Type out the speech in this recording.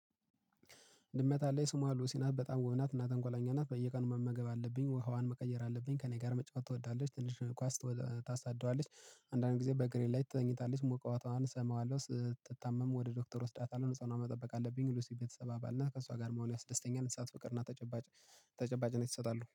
ድመት አለኝ። ስሟ ሉሲ ናት። በጣም ውብ ናት እና ተንኮለኛ ናት። በየቀኑ መመገብ አለብኝ። ውሃዋን መቀየር አለብኝ። ከእኔ ጋር መጫወት ትወዳለች። ትንሹን ኳስ ታሳደዋለች። አንዳንድ ጊዜ በእግሬ ላይ ትተኛታለች። ሙቀቷን እሰማዋለሁ። ስትታመም ወደ ዶክተር እወስዳታለሁ። ንጽህናዋን መጠበቅ አለብኝ። ሉሲ የቤተሰብ አባል ናት። ከእሷ ጋር መሆን ያስደስተኛል። እንሳት ፍቅር እና ተጨባጭነት ይሰጣሉ።